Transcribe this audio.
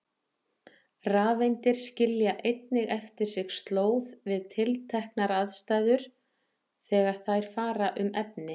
Rafeindir skilja einnig eftir sig slóð við tilteknar aðstæður þegar þær fara um efni.